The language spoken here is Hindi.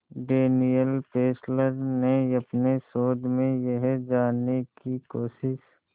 डैनियल फेस्लर ने अपने शोध में यह जानने की कोशिश